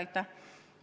Aitäh!